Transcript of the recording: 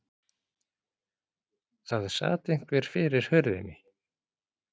Það sat einhver fyrir hurðinni.